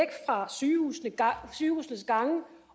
fra sygehusenes sygehusenes gange